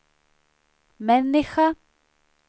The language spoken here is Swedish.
människa